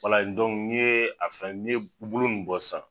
n ye a fɛn, ni ye bolo nunnu bɔ sisan